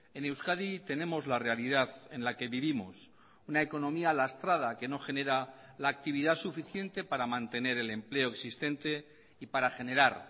en euskadi tenemos la realidad en la que vivimos una economía lastrada que no genera la actividad suficiente para mantener el empleo existente y para generar